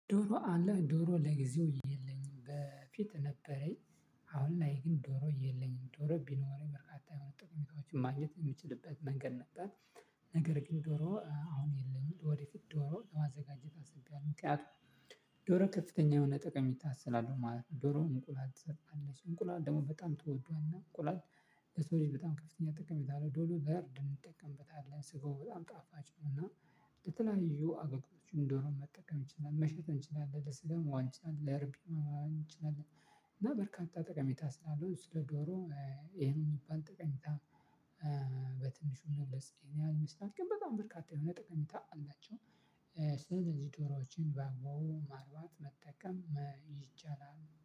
ዶሮ አለህ ዶሮ ለጊዜው የለኝም በፊት ነበረኝ። አሁን ላይ ግን ዶሮ የለኝም ዶሮ ቢኖረኝ በርካታ የሆነ ጥቅም የሚታወቅ ማግኘት የምችልበት መንገድ ነበር። ነገር ግን ዶሮ አሁን የለኝም ወደፊት ዶሮ ለማዘጋጀት አስቢያለሁ። ምክንያቱም ዶሮ ከፍተኛ የሆነ ጠቀሜታ ስላለው ማለት ነው። ዶሮ እንቁላል ትሰጣለች እንቁላል ደግሞ በጣም ትወዷል እና እንቁላል። ለሰው ልጅ በጣም ከፍተኛ ጠቀሜታ አለው። ዶሮ ቢያርድ እንጠቀምበታለን ስጎው በጣም ጣፋጭ ነው እና። ለተለያዩ አገልግሎቶች ዶሮ መጠቀም እንችላለን መሸጥ እንችላለን ለስጋ መዋል እንችላለን ለርቢ ማራባት እንችላለን። እና በርካታ ጠቀሜታ ስላለው ስለ ዶሮ። ይሄን የሚባል ጠቀሜታ። በትንሹ እንደዚህ ይሄን ያህል ሊስት አድርገን በጣም በርካታ የሆነ ጠቀሜታ አላቸው። ስለዚህ ዶሮዎችን በአባቡ ማርባት መጠቀም ይቻላል